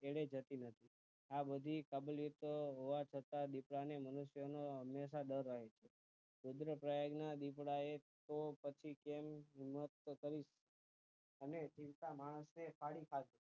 એળે જતી નથી આ બધી કાબિલિયતો હોવા છતાં દીપડાને હંમેશા મનુષ્ય નો દર રહે છે રુદ્રપ્રયાગ ના દીપડાએ તો પછી જીવતા માણસને ફાડી ખાધો